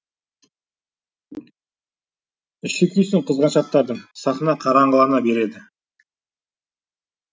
іші күйсін қызғаншақтардың сахна қараңғылана береді